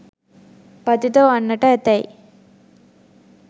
පතිත වන්නට ඇතැයි